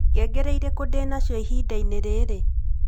ngengere ĩriku ndĩ na cĩo ihinda-inĩ rĩrĩ